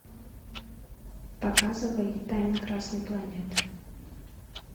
показывай тайна красной планеты